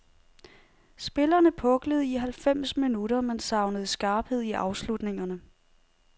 Spillerne puklede i halvfems minutter men savnede skarphed i afslutningerne.